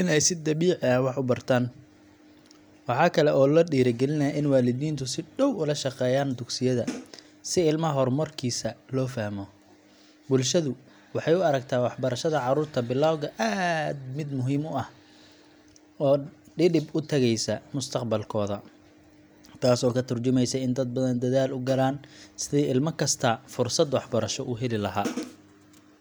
in ay si dabiici ah wax u bartaan. Waxa kale oo la dhiirrigeliyaa in waalidiintu si dhow ula shaqeeyaan dugsiyada, si ilmaha horumarkiisa loo fahmo. Bulshadu waxay u aragtaa waxbarashada carruurta bilowga ah mid muhiim ah oo dhidib u taagaysa mustaqbalkooda, taas oo ka tarjumaysa in dad badan dadaal u galaan sidii ilma kastaa fursad waxbarasho u heli lahaa.